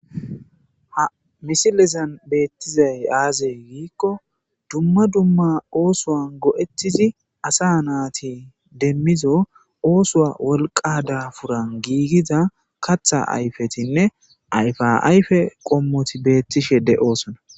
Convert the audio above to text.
Ha misilezan beettizay aazey giikko dumma dumma oosoan go7ettizi asa naati demmizo oosoa wolqa da furan giigiza katha ayfetinne ayfa ayfe qommoti beettishe de7osona